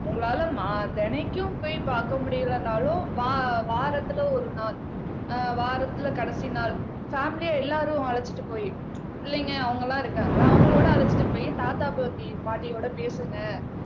உங்களால மா தெனைக்கும் போய் பார்க்க முடியலனாலும் வா வாரத்துல ஒரு நாள் அஹ் வாரத்துல கடைசி நாள் பேமிலியா எல்லாரும் அழைச்சிட்டு போயி பிள்ளைங்க அவங்க எல்லாம் இருக்காங்கல்ல அவங்களோட அழைச்சிட்டு போயி தாத்தா பாட்டி பாட்டியோட பேசுங்க